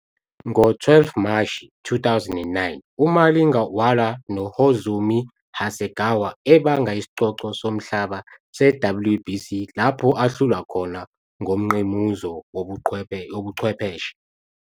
Ngo-12 Mashi 2009 uMalinga walwa noHozumi Hasegawa ebanga isicoco somhlaba se-WBC lapho ahlulwa khona ngomngqimuzo wobuchwepheshe.